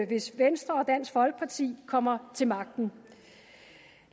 hvis venstre og dansk folkeparti kommer til magten